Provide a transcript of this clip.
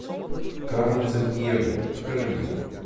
кармен сандиего покажи мне